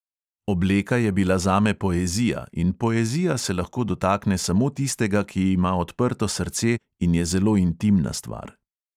Obleka je bila zame poezija in poezija se lahko dotakne samo tistega, ki ima odprto srce, in je zelo intimna stvar.